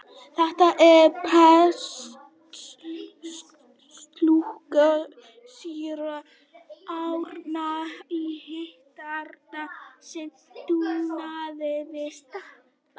Þetta er prestslúka síra Árna í Hítardal sem drukknaði við Stapann.